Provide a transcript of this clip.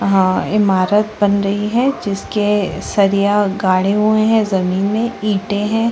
यहाँ इमारत बन रही है जिसके सरिया गाड़े हुए है जमीन में ईंटे है।